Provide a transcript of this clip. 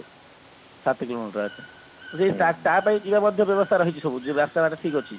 ସାତ କିଲୋମିଟର ଆଛା ଯିବାକୁ ମଧ୍ୟ ବ୍ୟବସ୍ତା ରହିଛି ସବୁ ଯୋଉ ରାସ୍ତା ଘାଟ ଠିକ ଅଛି